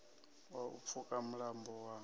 wa u pfuka mulambo wa